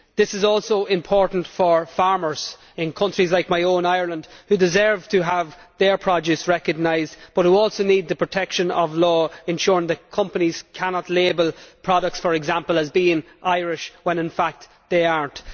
This is also important for farmers in countries like my own Ireland who deserve to have their produce recognised but who also need the protection of law, ensuring that companies cannot label products for example as being Irish when in fact they are not.